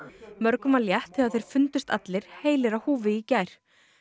mörgum var létt þegar þeir fundust allir heilir á húfi í gær